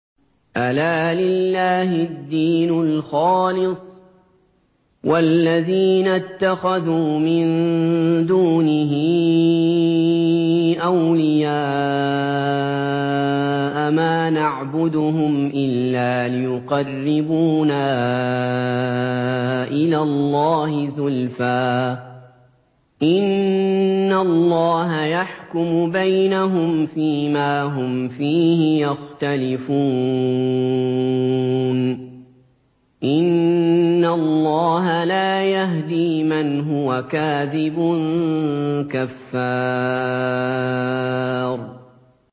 أَلَا لِلَّهِ الدِّينُ الْخَالِصُ ۚ وَالَّذِينَ اتَّخَذُوا مِن دُونِهِ أَوْلِيَاءَ مَا نَعْبُدُهُمْ إِلَّا لِيُقَرِّبُونَا إِلَى اللَّهِ زُلْفَىٰ إِنَّ اللَّهَ يَحْكُمُ بَيْنَهُمْ فِي مَا هُمْ فِيهِ يَخْتَلِفُونَ ۗ إِنَّ اللَّهَ لَا يَهْدِي مَنْ هُوَ كَاذِبٌ كَفَّارٌ